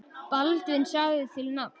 Baldvin sagði til nafns.